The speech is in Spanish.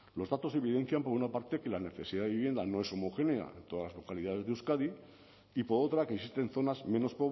los datos evidencian por una parte que la necesidad de vivienda no es homogénea en todas las localidades de euskadi y por otra que existen zonas menos